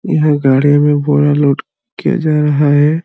यहाँ गाड़ी में बोरा लोड किया जा रहा है।